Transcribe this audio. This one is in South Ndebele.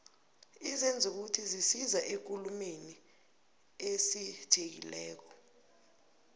izenzukuthi sizisa ekulumeni esithekileko